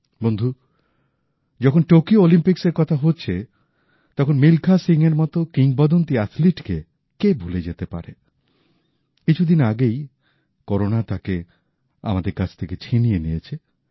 বন্ধু যখন টোকিও অলিম্পিক্সের কথা হচ্ছে তখন মিলখা সিংয়ের মত কিংবদন্তী অ্যাথলীটকে কে ভুলে যেতে পারে কিছু দিন আগেই করোনা তাঁকে আমাদের কাছ থেকে ছিনিয়ে নিয়েছে